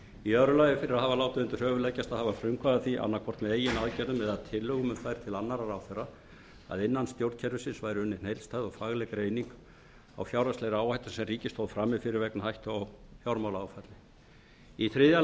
fyrir að hafa látið undir höfuð leggjast að hafa frumkvæði að því annaðhvort með eigin aðgerðum eða tillögum um þær til annarra ráðherra að innan stjórnkerfisins væri unnin heildstæð og fagleg greining á fjárhagslegri áhættu sem ríkið stóð frammi fyrir vegna hættu á fjármálaáfalli þriðja